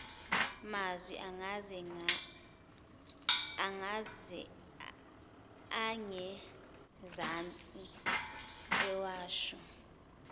mazwi angezansi ewasho